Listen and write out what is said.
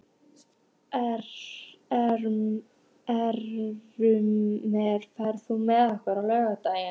Ermenrekur, ferð þú með okkur á laugardaginn?